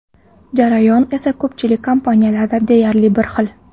Jarayon esa ko‘pchilik kompaniyalarda deyarli bir xil.